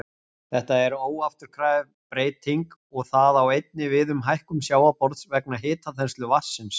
Þetta er óafturkræf breyting og það á einnig við um hækkun sjávarborðs vegna hitaþenslu vatnsins.